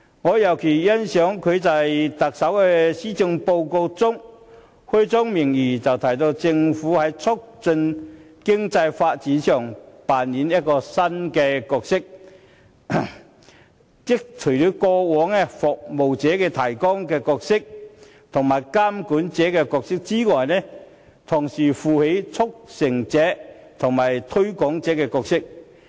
我尤其欣賞特首在施政報告開宗明義，表示政府會扮演新角色，在過往"服務提供者"及"監管者"的角色以外，同時擔當"促成者"及"推廣者"的角色。